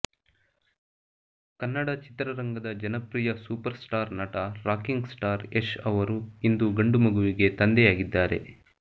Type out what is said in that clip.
ಕನ್ನಡ ಚಿತ್ರರಂಗದ ಜನಪ್ರಿಯ super star ನಟ ರಾಕಿಂಗ್ ಸ್ಟಾರ್ ಯಶ್ ಅವರು ಇಂದು ಗಂಡು ಮಗುವಿಗೆ ತಂದೆಯಾಗಿದ್ದಾರೆ